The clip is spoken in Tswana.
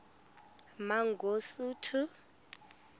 mangosuthu